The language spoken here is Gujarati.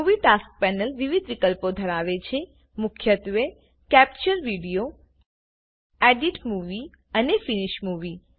મુવી ટાસ્ક પેનલ વિવિધ વિકલ્પો ધરાવે છે મુખ્યત્વે કેપ્ચર વીડિયો એડિટ મૂવી અને ફિનિશ મૂવી